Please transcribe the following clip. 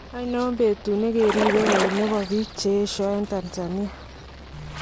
Ainon betuut nekiribe koit nebo biik cheyesha en Tanzania?